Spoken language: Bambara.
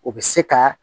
O bɛ se ka